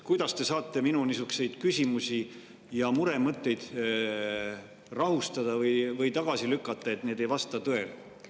Kuidas te saate minu niisuguseid küsimusi või muremõtteid rahustada või tagasi lükata, et need ei vasta tõele?